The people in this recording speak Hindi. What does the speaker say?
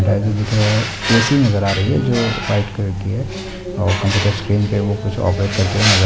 लाइट दिख रहे है ए.सी. नजर आ रही है जो व्हाइट कलर की है और --